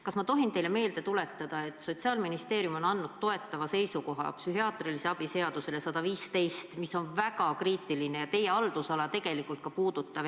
Kas ma tohin teile meelde tuletada, et Sotsiaalministeerium on andnud toetava seisukoha psühhiaatrilise abi seaduse eelnõu 115 kohta, mis on väga ajakriitiline ja teie haldusala puudutav?